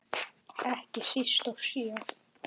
Ekki síst í sjö.